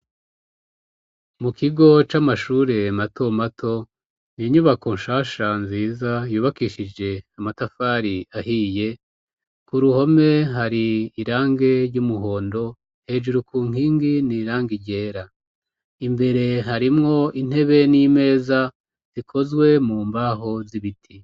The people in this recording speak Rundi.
Mu kigo c'amashure mato mato n'inyubako shasha nziza yubakishije amatafari ahiye ku ruhome hari irangi ry'umuhondo hejuru ku nkingi n'irangi ryera imbere harimwo intebe n'imeza zikozwe mu mbaho z'ibiti.